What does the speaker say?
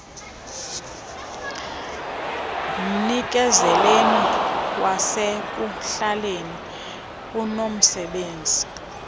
umnikezeli wasekuhlaleni unomsebenzi